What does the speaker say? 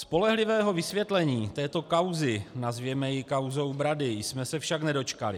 Spolehlivého vysvětlení této kauzy - nazvěme ji kauzou Brady - jsme se však nedočkali.